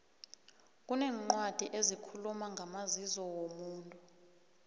kuneencwadi ezikhuluma ngamazizo womuntu